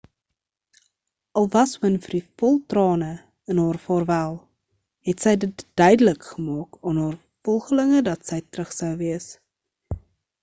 al was winfrey vol trane in haar vaarwel het sy dit duidelik gemaak aan haar volgelinge dat sy terug sou wees